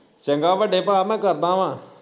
ਚੰਗਾ ਵੱਡੇ ਭਾ ਮੈਂ ਕਰਦਾ ਵਾ